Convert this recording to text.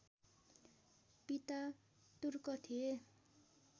पिता तुर्क थिए